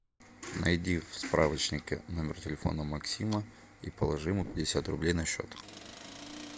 найди в справочнике номер телефона максима и положи ему пятьдесят рублей на счет